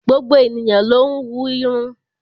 Gbogbo ènìyàn ló ń wú irun.